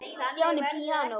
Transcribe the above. Stjáni píanó